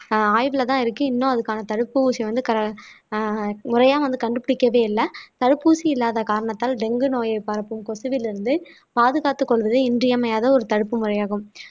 ஆஹ் ஆய்வுலதான் இருக்கு இன்னும் அதுக்கான தடுப்பூசி வந்து க ஆஹ் முறையா வந்து கண்டுபிடிக்கவே இல்ல தடுப்பூசி இல்லாத காரணத்தால் டெங்கு நோயை பரப்பும் கொசுவிலிருந்து இருந்து பாதுகாத்துக் கொள்வது இன்றியமையாத ஒரு தடுப்பு முறையாகும்